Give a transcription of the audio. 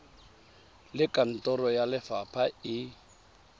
le kantoro ya lefapha e